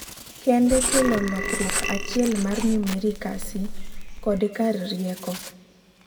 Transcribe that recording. kende kelo lokruok achiel mar numeracy: kod kar rieko